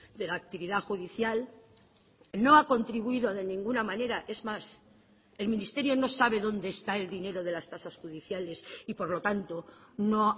de la actividad judicial no ha contribuido de ninguna manera es más el ministerio no sabe dónde está el dinero de las tasas judiciales y por lo tanto no